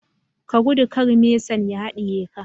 Ka gudu kar mesan ya hadiye ka